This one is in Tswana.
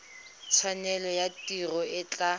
tshwanelo ya tiro e tla